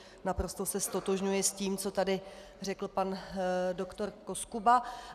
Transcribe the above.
Naprosto se ztotožňuji s tím, co tady řekl pan dr. Koskuba.